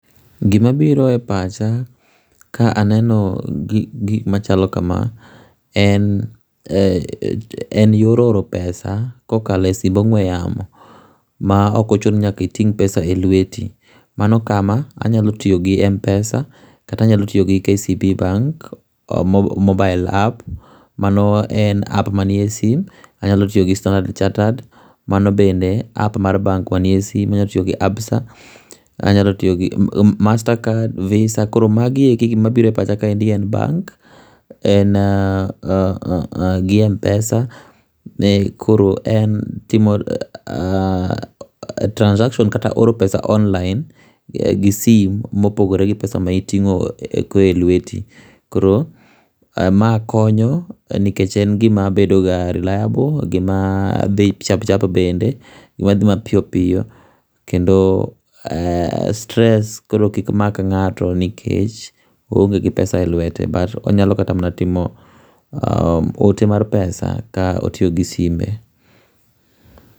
Gima biro e pacha ka aneno gik machalo kama en ,en yor oro pesa kokalo e simb ongwe yamo maok ochuno ni nyaka iting pesa e lweti. Manokama anyalo tiyo gi Mpesa kata anyalo tiyo gi KCB bank, mobile app, mano en app manie simu, anyalo tiyo gi Standard Chartered, mano bende app mar bank manie simu, anyalo tiyo gi Absa, anyalo tiyo gi Mastercard, Visa koro magi duto gima biro e pacha en [ccs]bank, en ..gi Mpesa, timo transaction kata oro pesa online gi sim kopogore gi pesa mitingo e lweti. Koro ma konyo nikech en gima bedoga reliable, gima dhi chapchap bende gima dhi mapiyo piyo kendo stress kik mak ngato nikech oonge gi pesa e lwete but onyalo kata timo ote mar pesa ka otiyo gi simbe